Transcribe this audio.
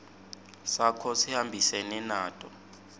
sakho sihambisene nato